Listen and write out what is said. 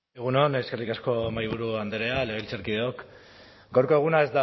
egun on eskerrik asko mahaiburu andrea legebiltzarkideok gaurko eguna